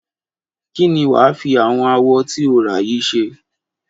Kí ni wà á fi àwọn awọ tí o rà yìí ṣe?